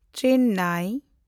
Chennai